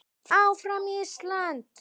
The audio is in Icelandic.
ÁFRAM ÍSLAND!